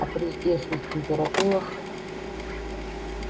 а при здешних температурах